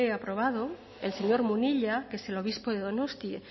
aprobado el señor munilla que es el obispo de donostia